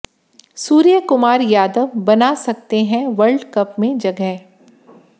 सूर्यकुमार यादव बना सकते हैं वर्ल्ड कप में जगह